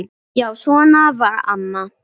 Já, svona var amma.